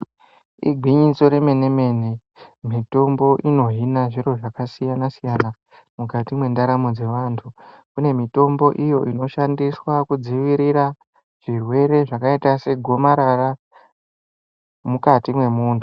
Igwinyiso remene-mene, mitombo inohina zviro zvakasiyana-siyana, mukati mwendaramo dzevanthu, kune mitombo iyo inoshandiswa kudzivirira zvirwere zvakaita segomarara mukati mwemunthu.